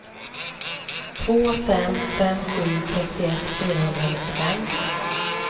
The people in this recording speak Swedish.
två fem fem sju trettioett fyrahundranittiofem